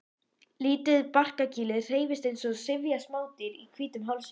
Lítið barkakýlið hreyfist eins og syfjað smádýr í hvítum hálsinum.